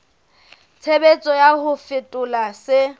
tshebetso ya ho fetola se